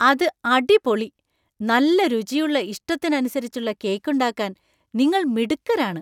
അത് അടിപൊളി ! നല്ല രുചിയുള്ള ഇഷ്ടത്തിനു അനിസരിച്ചുള്ള കേക്കുണ്ടാക്കാന്‍ നിങ്ങൾ മിടുക്കരാണ്.